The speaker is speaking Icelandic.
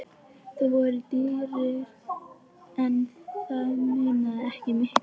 Þau voru dýrari en það munaði ekki miklu.